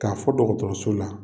K'a fɔ dɔgɔtɔrɔso la